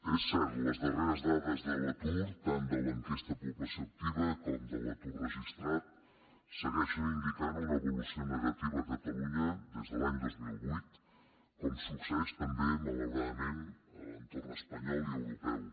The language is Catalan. és cert les darreres dades de l’atur tant de l’enquesta de població activa com de l’atur registrat segueixen indicant una evolució negativa a catalunya des de l’any dos mil vuit com succeeix també malauradament a l’entorn espanyol i europeu